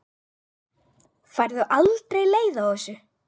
Færðu aldrei leið á þessu?